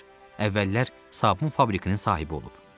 Əvvəllər sabun fabrikinin sahibi olub.